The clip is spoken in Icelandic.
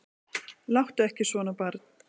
Láttu ekki svona barn.